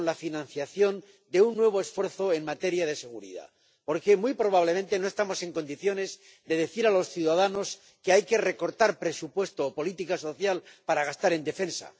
con la financiación de un nuevo esfuerzo en materia de seguridad, porque muy probablemente no estamos en condiciones de decir a los ciudadanos que hay que recortar presupuesto o política social para gastar en defensa.